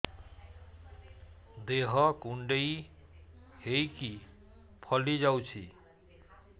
ଦେହ କୁଣ୍ଡେଇ ହେଇକି ଫଳି ଯାଉଛି